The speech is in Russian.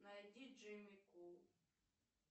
найди джимми кул